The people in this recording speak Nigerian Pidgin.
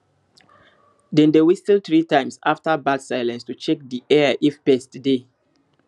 dem dey whistle three times after bird silence to check di air if pests dey